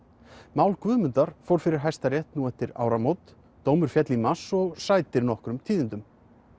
mál Guðmundar fór fyrir Hæstarétt nú eftir áramót dómur féll í mars og sætir nokkrum tíðindum